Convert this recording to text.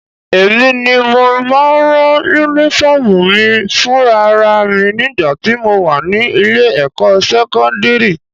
Èmi ni mo máa ń rán Únífọ́ọ̀mù mi fúnra ra mi nígbà tí mo wà ní ilé-ẹ̀kọ́ sẹ́kọ́ndírì